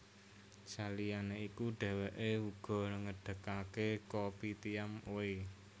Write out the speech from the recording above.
Saliyane iku dheweke uga ngedegake Kopitiam Oey